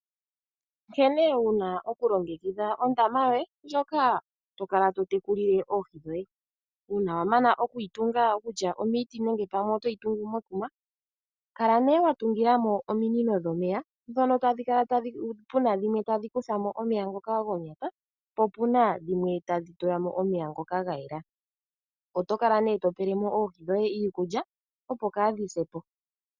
Nkene wu na okulongekidha ondama yoye, ndjoka to kala to tekulile oohi dhoye. Uuna wa mana oku yi tunga, kutya omiiti nenge pamwe oto yi tungu mekuma, kala wa tungila mo ominino dhomeya, ndhono tadhi kala pu na dhimwe tadhi kutha mo omeya ngoka gonyata, po pu na dhimwe tadhi tula mo omeya ngoka ga yela. Oto kala to pele mo oohi dhoye iikulya, opo kaadhi se po.